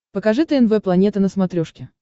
покажи тнв планета на смотрешке